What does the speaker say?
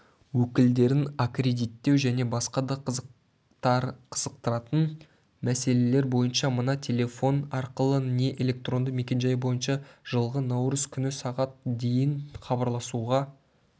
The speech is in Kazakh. өкілдерін аккредиттеу және басқа да қызықтыратын мәселелер бойынша мына телефон арқылы не электронды мекенжайы бойынша жылғы наурыз күні сағат дейін хабарласуға